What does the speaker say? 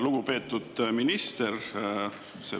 Lugupeetud minister!